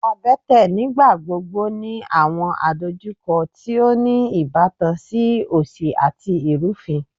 abẹ́tẹ̀ nígbàgbogbo ni àwọn àdojúkọ ti o ni ìbátan si òsì àti irufin